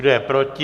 Kdo je proti?